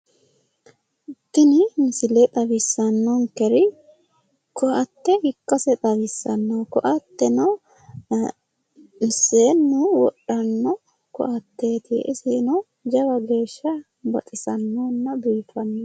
Tini misile xawissanninkeri ko'atte ikkase xawissanno. Ko'atteno seennu wodhanno ko'atteeti. Iseno jawa geeshsha baxissannonna biiffanno.